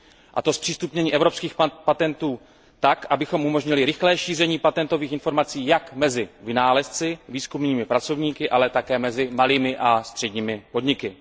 A to zpřístupnění evropských patentů tak, abychom umožnili rychlé šíření patentových informací jak mezi vynálezci, výzkumnými pracovníky, ale také mezi malými a středními podniky.